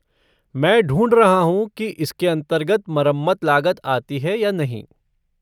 मैं ढूँढ रहा हूँ कि इसके अंतर्गत मरम्मत लागत आती है या नहीं।